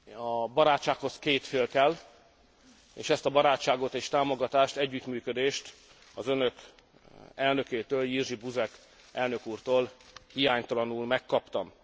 A barátsághoz két fél kell, és ezt a barátságot és támogatást, együttműködést az önök elnökétől, Jerzy Buzek elnök úrtól hiánytalanul megkaptam.